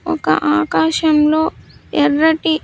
ఒక ఆకాశంలో ఎర్రటి.